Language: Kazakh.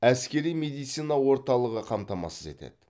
әскери медицина орталығы қамтамасыз етеді